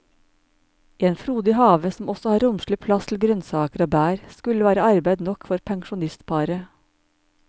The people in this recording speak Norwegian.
En frodig have som også har romslig plass til grønnsaker og bær, skulle være arbeid nok for pensjonistparet.